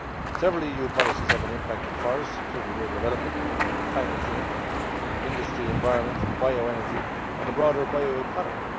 Several EU policies have an impact on forests, including rural development, climate change, industry, environment, bio energy and the broader bio economy.